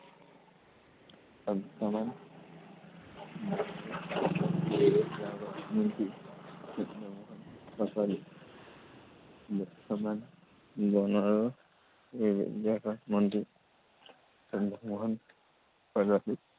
বৰ্তমান বন আৰু পৰিৱেশ বিভাগৰ মন্ত্ৰী চন্দ্ৰমোহন পাটোৱাৰী। বৰ্তমান বন আৰু পৰিৱেশ বিভাগৰ মন্ত্ৰী চন্দ্ৰমোহন পাটোৱাৰী